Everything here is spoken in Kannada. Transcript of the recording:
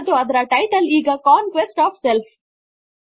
ಮತ್ತು ಅದರ ಟೈಟಲ್ ಈಗ ಕಾಂಕ್ವೆಸ್ಟ್ ಒಎಫ್ ಸೆಲ್ಫ್